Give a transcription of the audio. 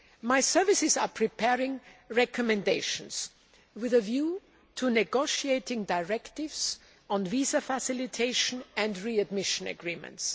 My services are preparing recommendations with a view to negotiating directives on visa facilitation and readmission agreements.